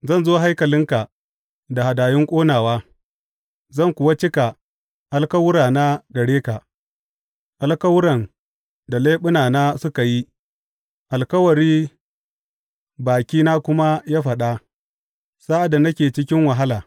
Zan zo haikalinka da hadayun ƙonawa zan kuwa cika alkawurana gare ka, alkawuran da leɓunana suka yi alkawari bakina kuma ya faɗa sa’ad da nake cikin wahala.